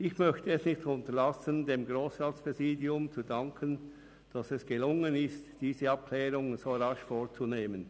Ich möchte es nicht unterlassen, dem Grossratspräsidium zu danken, dass es gelun- gen ist, diese Abklärungen so rasch vorzunehmen.